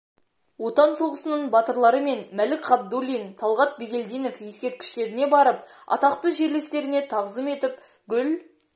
отан соғысының батырлары мен мәлік ғабдуллина талғат бегельдинов ескерткіштеріне барып атақты жерлестеріне тағзым етіп гүл